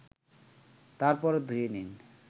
তারপর ধুয়ে নিন